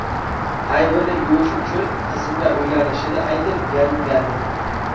Aybini yuvish uchun qizimga uylanishini aytib yalingandi.